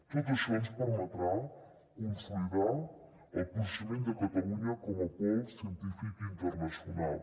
tot això ens permetrà consolidar el posicionament de catalunya com a pol científic internacional